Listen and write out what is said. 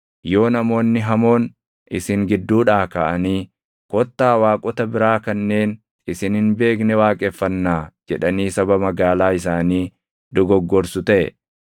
yoo namoonni hamoon isin gidduudhaa kaʼanii, “Kottaa waaqota biraa kanneen isin hin beekne waaqeffannaa” jedhanii saba magaalaa isaanii dogoggorsu taʼe,